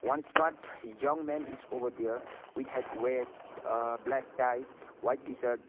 one smart young man is over there with had weared a black tie white t-shirt.